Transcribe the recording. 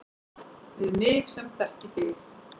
Við mig sem þekki þig.